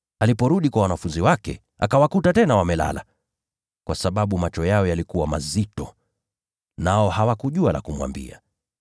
Aliporudi, akawakuta tena wamelala kwa sababu macho yao yalikuwa mazito. Nao hawakujua la kumwambia.